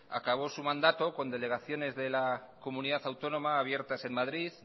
acabó su mandato con delegaciones de la comunidad autónoma abiertas en madrid